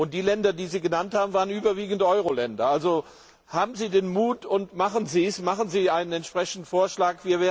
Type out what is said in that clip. Die Länder, die Sie genannt haben, waren überwiegend Euro Länder. Also haben Sie den Mut und machen Sie einen entsprechenden Vorschlag!